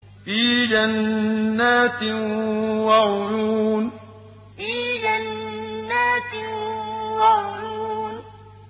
فِي جَنَّاتٍ وَعُيُونٍ فِي جَنَّاتٍ وَعُيُونٍ